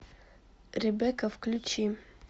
ребекка включи